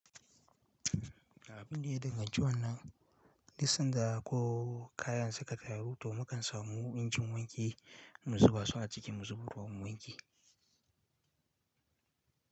Abin da ya danganci wannan duk sanda ko kayan suka tayaru, to mu kan samu injin wanki mu zuba su a ciki mu zuba ruwan wanki.